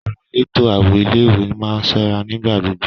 Àwọn elétò ààbò ilé ìwé má ń ṣọ́ra nígbà gbogbo.